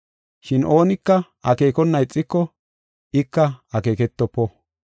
Shin oonika akeekona ixiko ika akeeketofo.